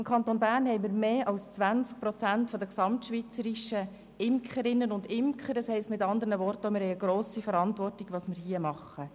Im Kanton Bern haben wir mehr als 20 Prozent der Imkerinnen und Imker in der Schweiz – mit anderen Worten: Wir haben eine grosse Verantwortung mit dem, was wir hier machen.